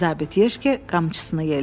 Zabit Yeşke qamçısını yellədi.